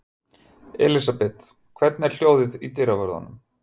Elísabet, hvernig er hljóðið í dyravörðum?